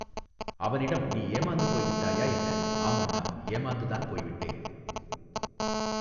அவனிடம் நீ ஏமாந்து போய்விட்டாயா என்ன ஆம் அண்ணா ஏமாந்துதான் போய்விட்டேன்.